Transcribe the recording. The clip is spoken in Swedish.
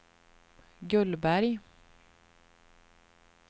Gullberg